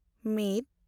ᱢᱤᱫ